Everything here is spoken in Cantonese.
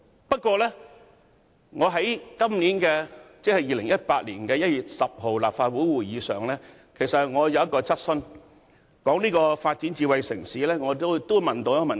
不過，在2018年1月10日的立法會會議上，我提出一項有關發展智慧城市的質詢。